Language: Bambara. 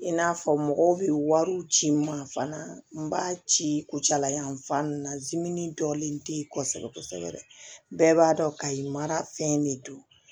I n'a fɔ mɔgɔw bɛ wariw ci n ma fana n b'a ci kucala yan fan na zimini dɔlen te yen kosɛbɛ kosɛbɛ bɛɛ b'a dɔn kayi mara fɛn de don